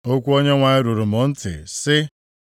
Okwu Onyenwe anyị ruru m ntị, sị,